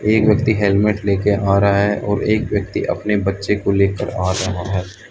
एक व्यक्ति हेलमेट ले के आ रहा है और एक व्यक्ति अपने बच्चे को लेकर आ रहा है।